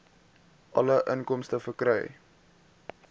alle inkomste verkry